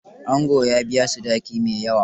Angon ya biya sadaki mai yawa.